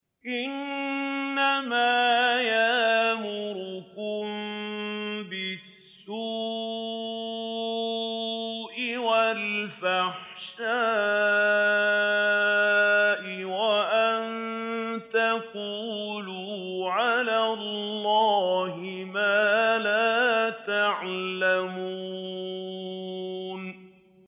إِنَّمَا يَأْمُرُكُم بِالسُّوءِ وَالْفَحْشَاءِ وَأَن تَقُولُوا عَلَى اللَّهِ مَا لَا تَعْلَمُونَ